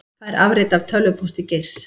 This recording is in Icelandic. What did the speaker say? Fær afrit af tölvupósti Geirs